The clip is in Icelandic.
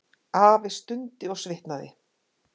Afi stundi og svitnaði.